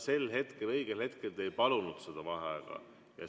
Sel hetkel, õigel hetkel te ei palunud vaheaega.